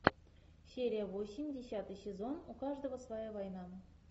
серия восемь десятый сезон у каждого своя война